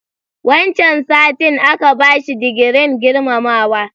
Wancan satin aka bashi digirin girmamawa.